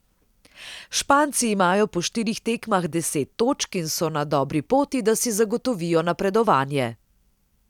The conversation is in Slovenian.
Španci imajo po štirih tekmah deset točk in so na dobri poti, da si zagotovijo napredovanje.